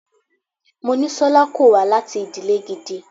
Monísọ́lá kò wá láti ìdílè gidi.